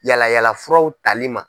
Yala yala furaw tali ma.